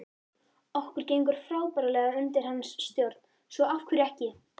Okkur gekk frábærlega undir hans stjórn svo af hverju ekki?